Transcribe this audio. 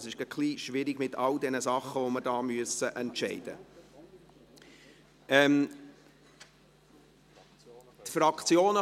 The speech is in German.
Momentan ist es etwas schwierig, mit all den Dingen, die wir entscheiden müssen.